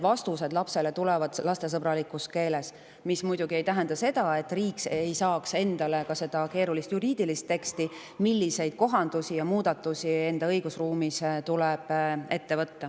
Nii tulevad lapsele ka vastused lastesõbralikus keeles, mis muidugi ei tähenda seda, et riik ei saaks endale keerulist juriidilist teksti selle kohta, milliseid kohandusi ja muudatusi tuleb enda õigusruumis ette võtta.